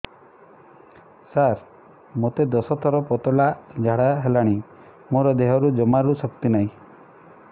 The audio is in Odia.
ସାର ମୋତେ ଦଶ ଥର ପତଳା ଝାଡା ହେଇଗଲାଣି ମୋ ଦେହରେ ଜମାରୁ ଶକ୍ତି ନାହିଁ